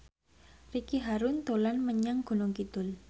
Ricky Harun dolan menyang Gunung Kidul